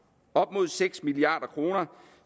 op mod seks milliard kroner